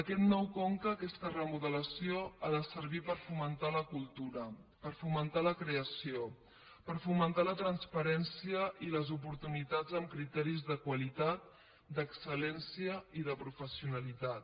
aquest nou con·ca aquesta remodelació ha de servir per fomentar la cultura per fomentar la creació per fomentar la trans·parència i les oportunitats amb criteris de qualitat d’excel·lència i de professionalitat